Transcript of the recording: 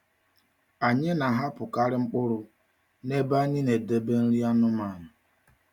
Anyị na-ahapụkarị mkpụrụ nebe anyị na-edebe nri anụmanụ.